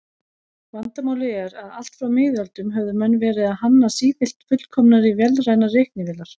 Vandamálið er að allt frá miðöldum höfðu menn verið að hanna sífellt fullkomnari vélrænar reiknivélar.